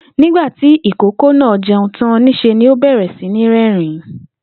Nígbà tí ìkókó náà je̩un tán, nís̩e ni ó bè̩rè̩ sí ní ré̩rìn-ín